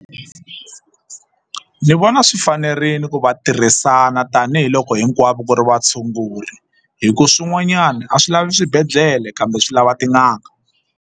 Ni vona swi fanerile ku va tirhisana tanihiloko hinkwavo ku ri vatshunguri hi ku swin'wanyana a swi lavi swibedhlele kambe swi lava tin'anga.